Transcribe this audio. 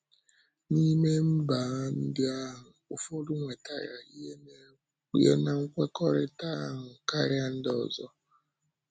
N’ime mba ndị ahụ, ụfọdụ nwètarà ihe ná nkwékọrịtà ahụ karịa ndị ọzọ.